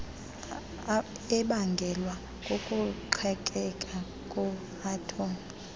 ebangelwa kukuqhekeka kweathom